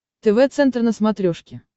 тв центр на смотрешке